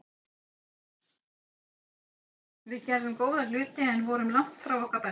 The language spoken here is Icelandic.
Við gerðum góða hluti en vorum langt frá okkar besta.